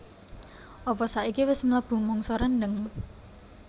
apa saiki wes mlebu mangsa rendheng?